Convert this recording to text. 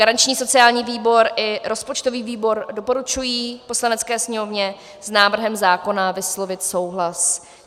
Garanční sociální výbor i rozpočtový výbor doporučují Poslanecké sněmovně s návrhem zákona vyslovit souhlas.